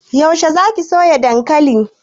Yaushe za ki soya dankali?